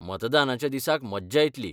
मतदानाच्या दिसाक मज्जा येत्ली .